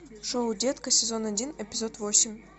шоу детка сезон один эпизод восемь